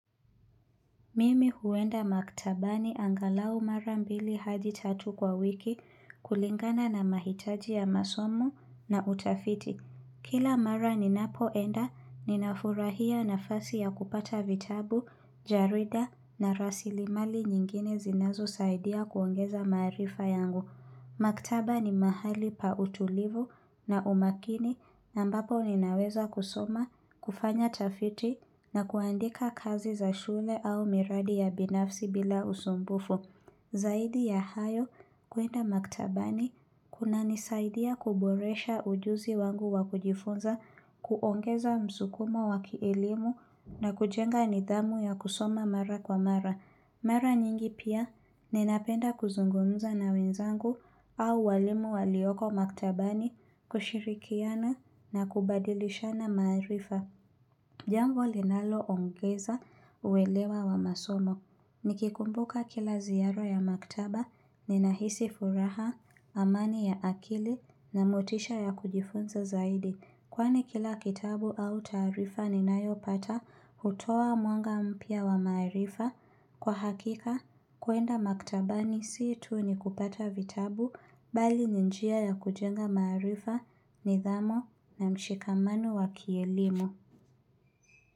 Mimi huenda maktabani angalau mara mbili hadi tatu kwa wiki, kulingana na mahitaji ya masom na utafiti. Kila mara ninapoenda, ninafurahia nafasi ya kupata vitabu, jarida na rasilimali nyingine zinazosaidia kuongeza maarifa yangu. Maktaba ni mahali pa utulivu na umakini na ambapo ninaweza kusoma, kufanya tafiti na kuandika kazi za shule au miradi ya binafsi bila usumbufu. Zaidi ya hayo kuenda maktabani kunanisaidia kuboresha ujuzi wangu wakujifunza, kuongeza msukumo wakielimu na kujenga nidhamu ya kusoma mara kwa mara. Mara nyingi pia, ninapenda kuzungumza na wenzangu au walimu walioko maktabani, kushirikiana na kubadilishana maarifa. Jambo linaloongeza uwelewa wa masomo. Nikikumbuka kila ziyara ya maktaba, ninahisi furaha, amani ya akili na motisha ya kujifunza zaidi. Kwani kila kitabu au taarifa ninayopata hutoa mwanga mpya wa maarifa. Kwa hakika, kuenda maktabani si tu ni kupata vitabu bali ni njia ya kujenga maarifa, nidhamo na mshikamano wa kielimu.